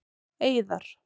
Eiðar